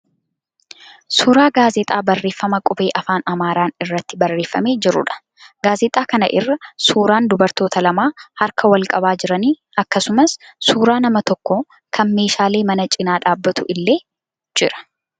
Suuraa gaazexaa barreeffama qubee afaan Amaaraan irratti barreeffamee jiruudha. Gaazexaa kana irra suuraan dubartoota lama harka wal qabaa jiranii akkasumas suuraan nama tokko kan meeshaalee manaa cina dhaabbatuu illee jira.